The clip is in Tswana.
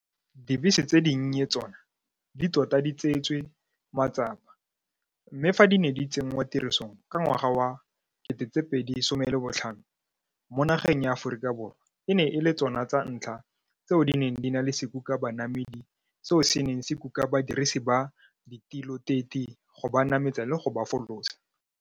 Dibese tse dinnye tsona di tota di tseetswe matsapa, mme fa di ne di tsenngwatirisong ka ngwaga wa 2015, mo nageng ya Aforika Borwa e ne e le tso na tsa ntlha tseo di neng di na le sekukabanamedi seo se neng se kuka badirisi ba ditiloteti go ba nametsa le go ba folosa.